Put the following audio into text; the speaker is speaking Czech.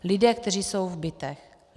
Lidé, kteří jsou v bytech.